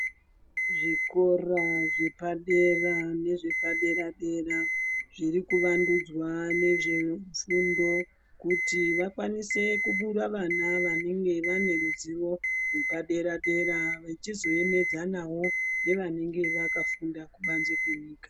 Zvikora zvepadera dera zviri kuvandudzwa nezve fundo kuti vakwanise kubura vana vanenge vane ruzivo rwepadera dera vachizoemedzanawo nevanenge vakafunda kubanze kwenyika.